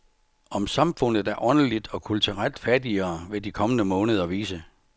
Om samfundet er åndeligt og kulturelt fattigere, vil de kommende måneder vise.